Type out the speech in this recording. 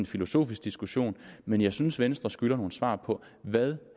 filosofisk diskussion men jeg synes at venstre skylder nogle svar på hvad